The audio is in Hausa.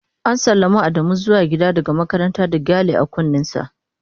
​​An sallami Adamu zuwa gida daga makaranta da gyale a kunnensa.